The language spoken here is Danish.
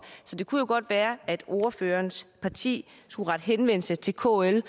så det kunne jo godt være at ordførerens parti skulle rette henvendelse til kl